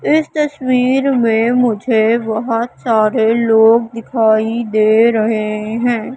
इस तस्वीर में मुझे बहुत सारे लोग दिखाई दे रहे हैं।